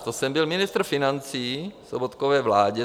To jsem byl ministr financí v Sobotkově vládě.